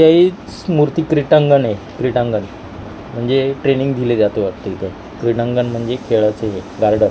हेच मूर्ती क्रीटांगण आहे क्रीटांगण म्हणजे ट्रेनिंग दिले जाते वाटतं इथे क्रीडांगण म्हणजे खेळाचं हे गार्डन .